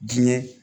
Diinɛ